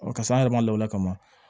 paseke an yɛrɛ ma lawulila ka